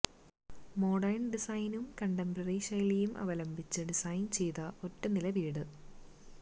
modern ഡിസൈനും contemporary ശൈലിയിലും അവലംബിച്ച് ഡിസൈന് ചെയ്ത ഒറ്റനില വീട്